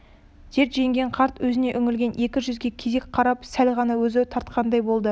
дерт жеңген қарт өзіне үңілген екі жүзге кезек қарап сәл ғана езу тартқандай болды